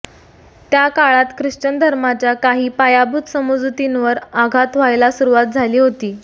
त्या काळात ख्रिश्चन धर्माच्या काही पायाभूत समजुतींवर आघात व्हायला सुरुवात झाली होती